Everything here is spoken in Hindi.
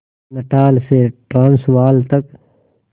नटाल से ट्रांसवाल तक